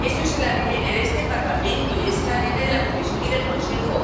Eso es el ADN de este Parlamento y es el ADN de la Comisión y del Consejo.